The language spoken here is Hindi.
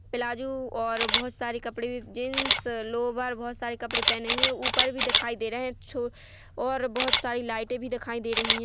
प्लाजू और बहुत सारे कपडे भी जींस लोभार बहुत सारे कपडे पहने हुए है ऊपर भी दिखाई दे रहे है छो और बहुत सारी लाईटे भी दिखाई दे रही है।